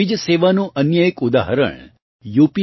આવી જ સેવાનું અન્ય એક ઉદાહરણ યૂ